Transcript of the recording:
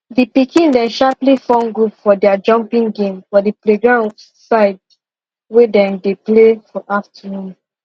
the pikin dem sharply form group for their jumping game for the playground side wey dem dey play for afternoon